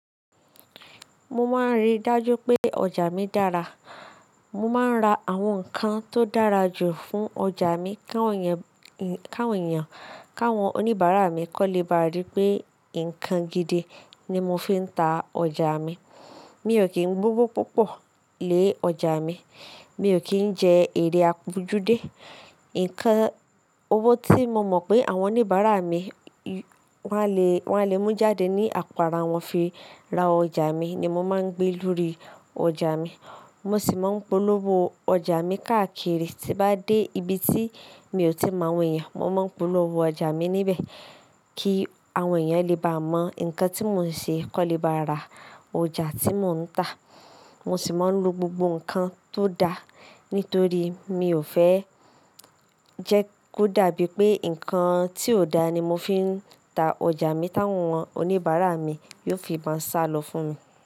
Mo máa ń rí dájú pé ọjà mi dára. Mo máa ń ra àwọn nǹkan tó dára jù fún ọjà mi, ká wọn èèyàn, káwọn oníbàárà mi kó lè bá rí pé nǹkan gidi ni mo fi ń ta ọjà mi. Mi ò kí ń gbó wó púpọ̀ lé ọjà mi. Mi ò kí ń jẹ èrè àpọ́jú dé. Nǹkan owó tí mo mọ̀ pé àwọn oníbàárà mi wọn a lè mú jáde ní àpò ara wọn fi ra ọjà mi ni mo máa ń gbé lórí ọjà mi. Mo sì máa ń polówó ọjà mi káàkiri. Tí bá dé ibi tí mi ò tíì mọ̀ àwọn èèyàn, mo máa ń polówó ọjà mi níbẹ̀ kí àwọn èèyàn lè bá mọ nǹkan tí mò ń ṣe kó lè bá ra ọjà tí mò ń tà. Mo sì máa ń lo gbogbo nǹkan tó da, nítorí mi ò fẹ́ jẹ́ kó dàbí pé nǹkan tí ò da ni mo fi ń tà ọjà mi táwọn oníbàárà mi yóò fi máa sálọ fún mi.